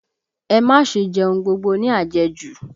Ẹ má ṣe jẹ ohun gbogbo ní àjẹjù!